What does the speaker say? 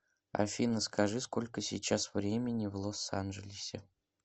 афина скажи сколько сейчас времени в лос анджелесе